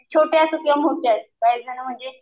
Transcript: छोटे असो किंवा मोठे असो काहीजण म्हणजे